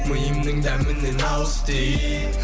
миымның дәмінен ауыз ти